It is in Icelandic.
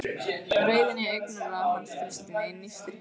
Reiðin í augnaráði hans frystir mig, nístir hverja frumu.